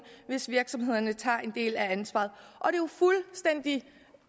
hvis virksomhederne tager en del af ansvaret det